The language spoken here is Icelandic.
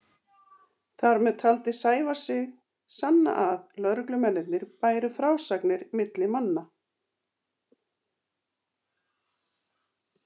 Þar með taldi Sævar sig sanna að lögreglumennirnir bæru frásagnir milli manna.